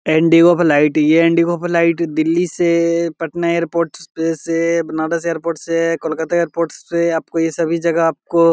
Indigo flight यह इंडिगो का flight Delhi से पटना एयरपोर्ट से बनारस एयरपोर्ट से कोलकता एयरपोर्ट से आपको ये सभी जगह ये आपको --